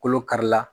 Kolo kari la